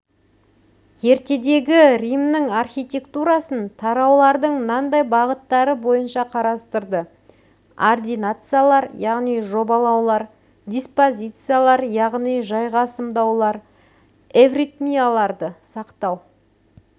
ертедегі римнің архитектурасын тараулардың мынандай бағыттары бойынша қарастырды ординациялар яғни жобалаулар диспозициялар яғни жайғасымдаулар эвритмияларды сақтау